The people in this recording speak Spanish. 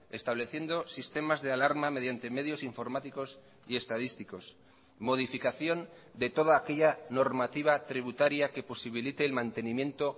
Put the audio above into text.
estableciendo sistemas de alarma mediante medios informáticos y estadísticos modificación de toda aquella normativa tributaria que posibilite el mantenimiento